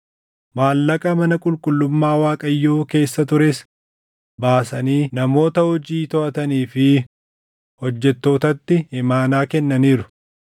Maallaqa mana qulqullummaa Waaqayyoo keessa tures baasanii namoota hojii toʼatanii fi hojjettootatti imaanaa kennaniiru.”